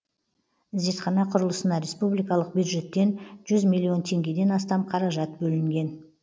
зертхана құрылысына республикалық бюджеттен жүз миллион теңгеден астам қаражат бөлінген